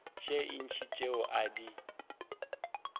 tše ntši tšeo a di